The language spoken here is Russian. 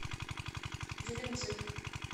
геленджик